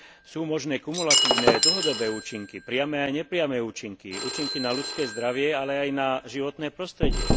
Sú možné kumulatívne dlhodobé účinky, priame aj nepriame účinky, účinky na ľudské zdravie, ale aj na životné prostredie.